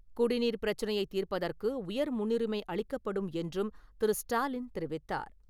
குடிநீர் பிரச்சனையை தீர்ப்பதற்கு உயர் முன்னுரிமை அளிக்கப்படும் என்றும் திரு. ஸ்டாலின் தெரிவித்தார்.